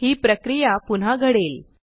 ही प्रक्रिया पुन्हा घडेल